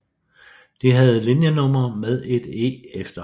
De havde linjenumre med et E efter